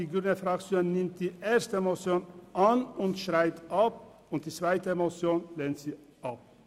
Die grüne Fraktion nimmt die erste Motion an und schreibt sie ab und die zweite Motion lehnt sie ab.